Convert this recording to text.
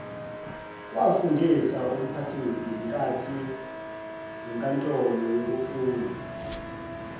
wafundisa umphakathingenkantolo yokufuna